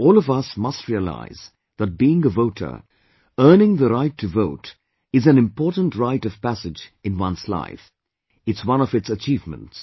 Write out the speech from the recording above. All of us must realise that being a voter, earning the right to vote is an important rite of passage in one's life; it's one of its achievements